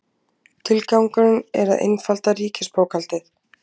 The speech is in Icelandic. Tilgangurinn er að einfalda ríkisbókhaldið